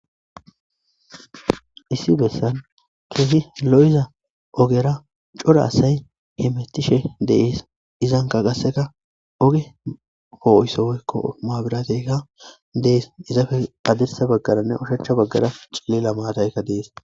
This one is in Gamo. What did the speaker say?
Issi bessan keehi lo'iza ogeera cora asay hemetishe de'es. Izanka gasseka oge poo'iso woykko maabirateyka dees. Izappe haddirsa baggaranne ushacha baggara cillila maataykka de'es.